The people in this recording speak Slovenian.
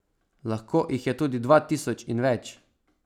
Lahko jih je tudi dva tisoč in več.